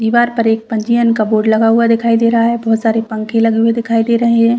दीवार पर एक पंजीयन का बोर्ड लगा हुआ दिखाई दे रहा है बहुत सारे पंखे लगे हुए दिखाई दे रहे है।